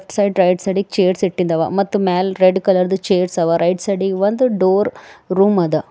Left side right side ಇಗ್ chairs ಇಟ್ಟಿದವ ಮತ್ತೆ ಮ್ಯಾಲ ರೆಡ್ ಕಲರ್ದು ಚೇರ್ಸ್ ಅವರೈಟ್ ಸೈಡಿ ಗ್ ಒಂದು ಡೋರ್ ರೂಮ್ ಅದ.